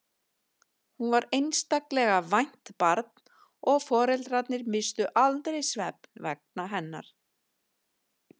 Hún var einstaklega vært barn og foreldrarnir misstu aldrei svefn hennar vegna.